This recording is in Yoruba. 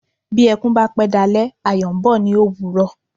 Bí ẹkún pẹ́ dalẹ́ kan Ayọ̀ ń bọ̀ ní òwúrọ̀.